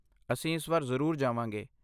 ਅਸੀਂ ਇਸ ਵਾਰ ਜ਼ਰੂਰ ਜਾਵਾਂਗੇ।